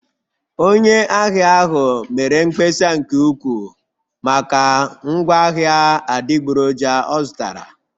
Onye ahịa ahụ mere mkpesa nke ukwuu maka ngwaahịa adịgboroja ọ zụtara